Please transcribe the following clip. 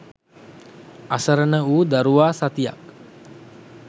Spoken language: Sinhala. අසරණවූ දරුවා සතියක්